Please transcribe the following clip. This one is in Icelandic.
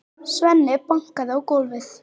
Svenni bankaði í gólfið.